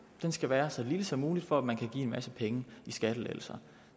den skal være så lille som muligt for at man kan give en masse penge i skattelettelser